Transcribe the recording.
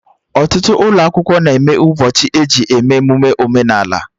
Ọtụtụ ụlọ akwụkwọ na-enwe ụbọchị eji eme emụme omenala